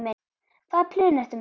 Hvaða plön ertu með?